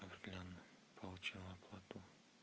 руслан получил оплату